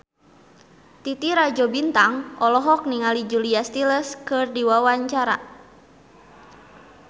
Titi Rajo Bintang olohok ningali Julia Stiles keur diwawancara